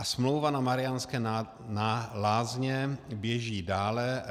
A smlouva na Mariánské Lázně běží dále.